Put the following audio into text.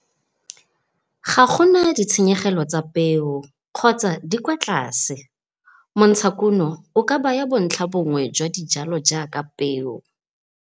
Ga go na ditshenyegelo tsa peo kgotsa di kwa tlase. Montshakuno o ka baya bontlhabonngwe jwa dijalo jaaka peo.